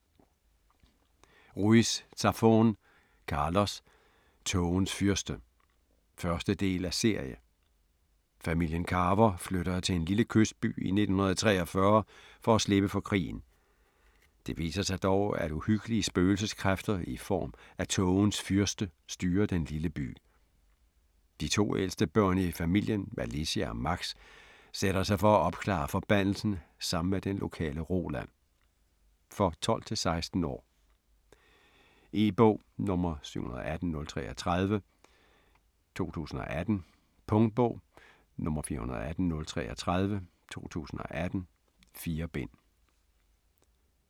Ruiz Zafón, Carlos: Tågens fyrste 1. del af serie. Familien Carver flytter til en lille kystby i 1943 for at slippe for krigen. Det viser sig dog, at uhyggelige spøgelseskræfter i form af Tågens Fyrste styrer den lille by. De to ældste børn i familien, Alicia og Max, sætter sig for at opklare forbandelsen sammen med den lokale Roland. For 12-16 år. E-bog 718033 2018. Punktbog 418033 2018. 4 bind.